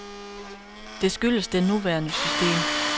Det skyldes det nuværende system.